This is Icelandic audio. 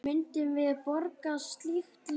Myndum við borga slík laun?